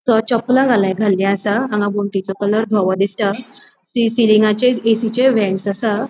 तो चपला घाल घाली आसा आंगा वनटीचो कलर दोवों दिसता सी सीलिंगाचे ऐसीचे वेन्ट्स असा.